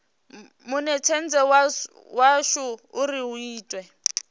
munetshedzi wadzo uri hu itwe